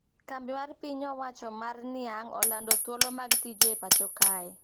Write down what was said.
Kambi mar piny owacho mar niang` olando thuolo mag tije e pacho kae